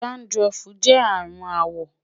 dandruff jẹ arun awọ